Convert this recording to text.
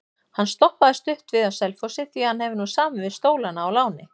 Hann stoppaði stutt við á Selfossi því hann hefur nú samið við Stólana á láni.